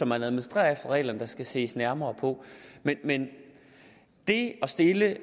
man administrerer reglerne på der skal ses nærmere på men det at stille